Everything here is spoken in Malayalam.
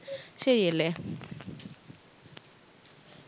ശരിയല്ലേ